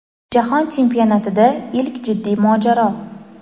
Jahon chempionatida ilk jiddiy mojaro.